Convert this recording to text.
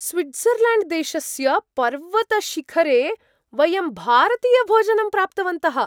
स्वीट्ज़र्लैण्ड्देशस्य पर्वतशिखरे वयं भारतीयभोजनं प्राप्तवन्तः।